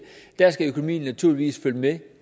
skal økonomien naturligvis følge med